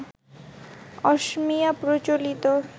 অসমীয়া প্রচলিত